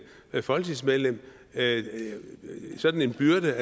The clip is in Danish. folketingsmedlem sådan en byrde